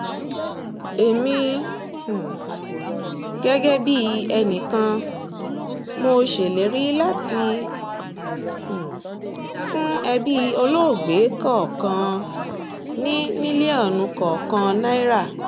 èmi um gẹ́gẹ́ bíi ẹnì kan mo ṣèlérí láti um fún ẹbí olóògbé kọ̀ọ̀kan ní mílíọ̀nù kọ̀ọ̀kan náírà